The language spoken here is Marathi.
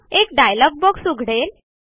एक डायलॉग बॉक्स उघडेल